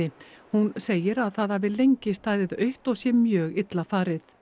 hún segir að það hafi lengi staðið autt og sé mjög illa farið